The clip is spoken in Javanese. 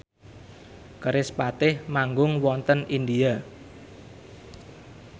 kerispatih manggung wonten India